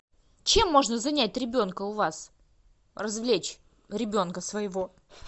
чем можно занять ребенка у вас развлечь ребенка своего